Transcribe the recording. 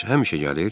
Bəs həmişə gəlir?